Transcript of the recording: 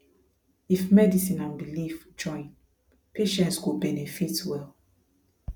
if medicine and belief join patients go benefit well